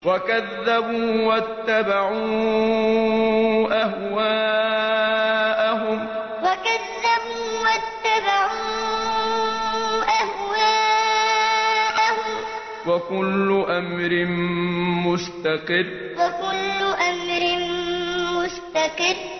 وَكَذَّبُوا وَاتَّبَعُوا أَهْوَاءَهُمْ ۚ وَكُلُّ أَمْرٍ مُّسْتَقِرٌّ وَكَذَّبُوا وَاتَّبَعُوا أَهْوَاءَهُمْ ۚ وَكُلُّ أَمْرٍ مُّسْتَقِرٌّ